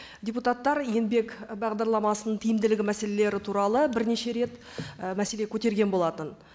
депутаттар еңбек бағдарламасының тиімділігі мәселелері туралы бірнеше рет і мәселе көтерген болатын